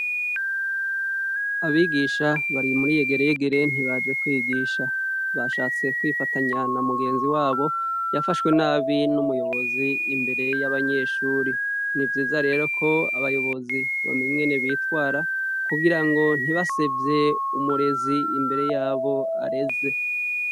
Abigisha bari muri yegereyegere ntibaje kwigisha bashatse kwifatanya na mugenzi wabo yafashwe nabi n'umuyobozi imbere y'abanyeshuri nivyiza rero ko abayobozi bamenyene bitwara kugira ngo ntibasevye umurezi imbere yabo areze.